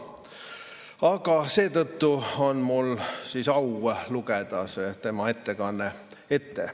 Aga seetõttu on mul au lugeda tema ettekanne ette.